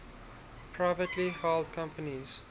privately held companies